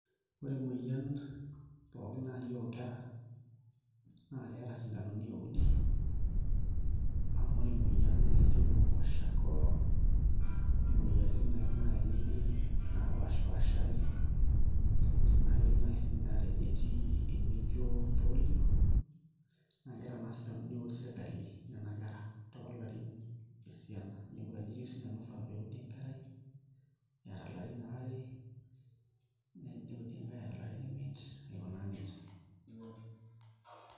Ore emoyian pookin naai oonkera naa keeta osindano oudi ore emoyian naa ijio noo kwashiokor imoyiaritin naai naapaashipaashari naa kidim naai siinye aatejo etii enijio polio naa keeta naa sindanoni ooud sirkali nena kera toolarin esiana, inepu ajo etii osindano oifaa pee eudi enkerai eeta ilarin aare neudi enake eeta ilarin imiet aikunaa nijia.